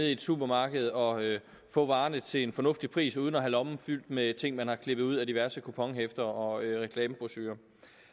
i supermarkedet og få varerne til en fornuftig pris uden at have lommen fyldt med ting man har klippet ud af diverse kuponhæfter og reklamebrochurer